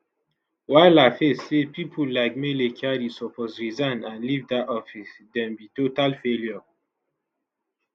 while laface say pipo like mele kyari suppose resign and leave dat office dem be total failure